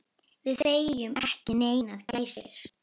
Við fengum ekki neinar gæsir.